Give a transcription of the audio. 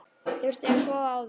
Þurfti að sofa á því.